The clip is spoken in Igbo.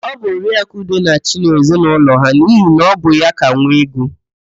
Ọ bụ Oriaakụ Ude na-achị n'ezinaụlọ ha n'ihi na ọ bụ ya ka nwee ego.